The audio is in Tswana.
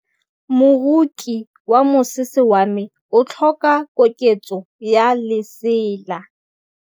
Moroki wa mosese wa me o tlhoka koketsô ya lesela.